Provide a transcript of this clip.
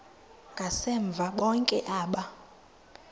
ngasemva bonke aba